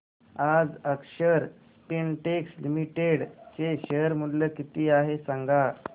आज अक्षर स्पिनटेक्स लिमिटेड चे शेअर मूल्य किती आहे सांगा